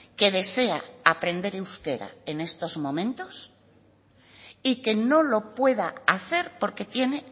que desea aprender euskera en estos momentos y que no lo pueda hacer porque tiene